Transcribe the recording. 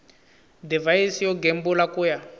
divhayisi yo gembula ku ya